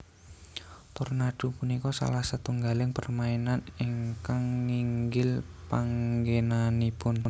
Tornado punika salah setunggaling permainan ingkang nginggil panggenanipun